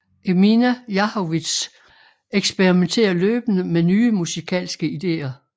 Emina Jahović eksperimenterer løbende med nye musikalske idéer